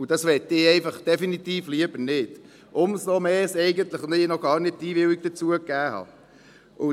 Und das möchte ich einfach definitiv lieber nicht – umso mehr, als ich eigentlich gar keine Einwilligung dazu gegeben habe.